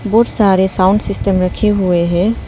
बहोत सारे sound system रखे हुए हैं।